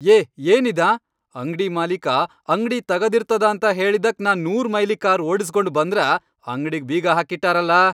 ಏ ಏನಿದ್ ಆಂ? ಅಂಗ್ಡಿ ಮಾಲಿಕ ಅಂಗ್ಡಿ ತಗದಿರ್ತದ ಅಂತ ಹೇಳಿದಕ್ ನಾ ನೂರು ಮೈಲಿ ಕಾರ್ ಓಡಿಸ್ಗೊಂಡ್ ಬಂದ್ರ, ಅಂಗ್ಡಿಗಿ ಬೀಗ ಹಾಕಿಟ್ಟಾರಲಾ.